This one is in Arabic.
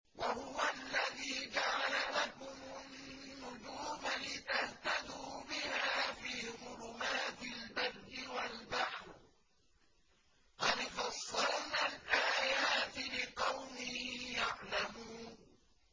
وَهُوَ الَّذِي جَعَلَ لَكُمُ النُّجُومَ لِتَهْتَدُوا بِهَا فِي ظُلُمَاتِ الْبَرِّ وَالْبَحْرِ ۗ قَدْ فَصَّلْنَا الْآيَاتِ لِقَوْمٍ يَعْلَمُونَ